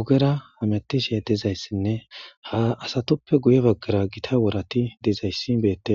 ogera hamettishee tizayssinne ha asatoppe guye baggara gita worati dizayssi beette.